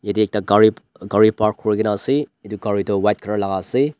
ite ekta ghari park kurigena ase itu ghari toh buka colour laga ase.